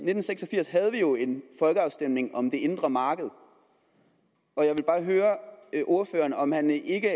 nitten seks og firs havde vi jo en folkeafstemning om det indre marked og jeg vil bare høre ordføreren om han ikke